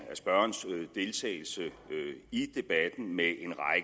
spørgerens deltagelse i debatten med